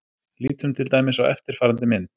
Lítum til dæmis á eftirfarandi mynd.